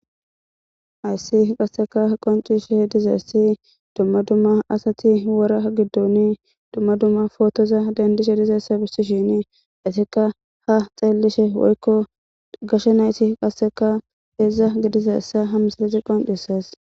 Hayisi qasseka qoncisi odizayisi duma duma assati wora gidoni duma duma potoza dendishe dizayissa besisheni hesatika ha xelishe woyiko gashe nayit qaseka hedza gizayisa ha misileyi qoncises